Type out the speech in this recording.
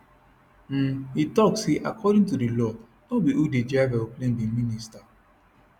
um e tok say according to di law no be who dey drive aeroplane be minister